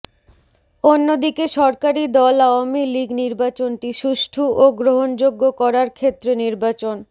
অন্যদিকে সরকারি দল আওয়ামী লীগ নির্বাচনটি সুষ্ঠু ও গ্রহণযোগ্য করার ক্ষেত্রে নির্বাচন